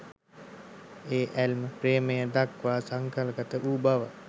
ඒ ඇල්ම ප්‍රේමය දක්වා සංකල්පගත වූ බව